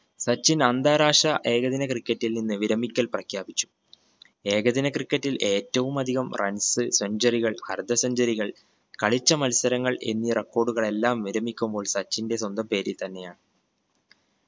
സച്ചിൻ അന്താരാഷ്ട്ര ഏകദിന cricket ൽ നിന്ന് വിരമിക്കൽ പ്രഖ്യാപിച്ചു. ഏകദിന cricket ൽ ഏറ്റവുമധികം runs centuary കൾ അർദ്ധ centuary കൾ കളിച്ച മത്സരങ്ങൾ എന്നീ record കൾ എല്ലാം വിരമിക്കുമ്പോൾ സച്ചിന്റെ സ്വന്തം പേരിൽ തന്നെ ആണ്.